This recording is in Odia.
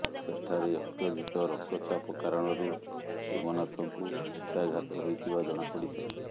ସେଠାରେ ଅତ୍ୟଧିକ ରକ୍ତଚାପ କାରଣରୁ ଶିବନାଥଙ୍କୁ ପକ୍ଷାଘାତ ହୋଇଥିବା ଜଣାପଡ଼ିଥିଲା